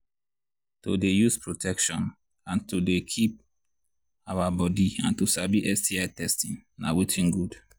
to they use protection and to they keep our body and to sabi sti testing na watin good